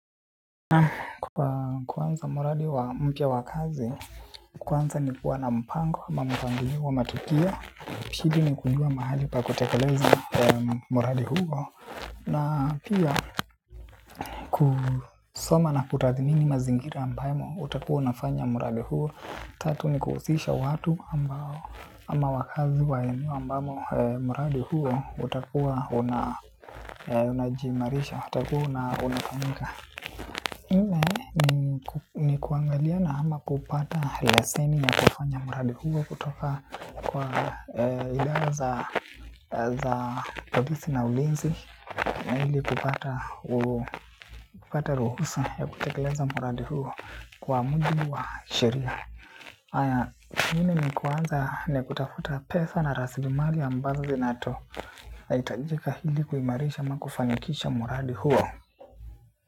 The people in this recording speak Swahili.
Na kwanza muradi wa mpya wa kazi, kwanza ni kuwa na mpango ama mpangilio wa matukio. Shida ni kujua mahali pa kutekeleza mradi huo, na pia kusoma na kutathmini mazingira ambamo utakuwa unafanya mradi huo. Tatu ni kuhusisha watu ambao ama wakaazi wa eneo ambamo muradi huo utakuwa una unajiimarisha, utakuwa na unakamilika. Ni kuangaliana ama kupata leseni ya kufanya muradi huo kutoka kwa idara za polisi na ulinzi na hili kupata ruhusa ya kutekeleza muradi huo kwa mudi wa sheria. Ingine ni kuanza na kutafuta pesa na rasilimali ambazo zinaitajika hili kuimarisha ama kufanikisha muradi huo.